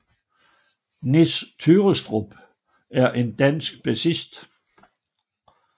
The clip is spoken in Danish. Nis Tyrrestrup er en dansk bassist